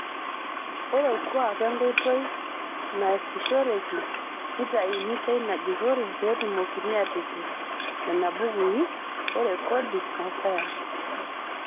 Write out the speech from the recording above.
Ore orkuak onkoitoi naasishoreki, neitayuni teina jurore petumokini atipik nenabukui erekodi osayantist.